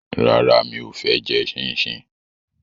Rárá, mi ò fẹ́ jẹ ṣíńṣiǹ